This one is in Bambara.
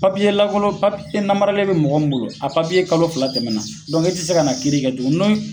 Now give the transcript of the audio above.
Papiye lakolo papiye namaralen be mɔgɔ min bolo a papiye kalo fila tɛmɛna dɔnku te se ka na kiiri kɛ tugu n'o ye